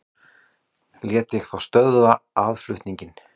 Lét ég þá stöðva aðflutninginn.